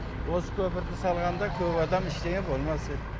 осы көпірді салғанда көп адам иштеңе болмас еді